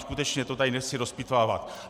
Skutečně to tady nechci rozpitvávat.